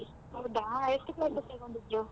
ಹೌದ ಎಷ್ಟು classes ತಗೊಂಡಿದ್ರು?